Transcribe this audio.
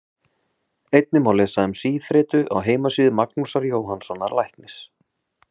Einnig má lesa um síþreytu á heimasíðu Magnúsar Jóhannssonar læknis.